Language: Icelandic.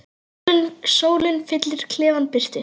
Sólin fyllir klefann birtu.